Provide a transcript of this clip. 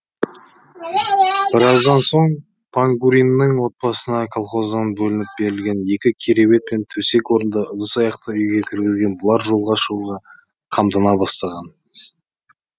біраздан соң пангуриннің отбасына колхоздан бөлініп берілген екі кереует пен төсек орынды ыдыс аяқты үйге кіргізген бұлар жолға шығуға қамдана бастаған